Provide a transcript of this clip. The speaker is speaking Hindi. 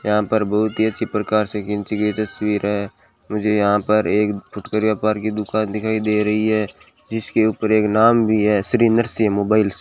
यहां पर बहुत ही अच्छी प्रकाश से खींची गई तस्वीर है मुझे यहां पर एक फुटकर व्यापार की दुकान दिखाई दे रही है जिसके ऊपर एक नाम भी है श्री नर्सिंग मोबाइल्स ।